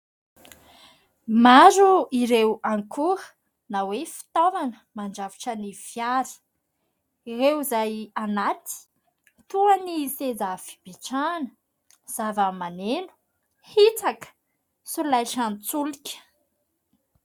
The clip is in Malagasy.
Maro ireo ankora na hoe fitaovana mandrafitra ny fiara. Ireo izay ao anatiny toa ny : seza fipetrahana, zava-maneno, hitsaka ary solaitran-tsolika.